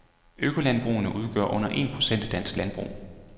Økolandbrugene udgør under en procent af dansk landbrug.